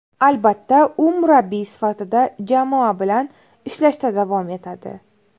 Albatta, u murabbiy sifatida jamoa bilan ishlashda davom etadi.